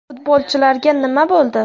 Futbolchilarga nima bo‘ldi?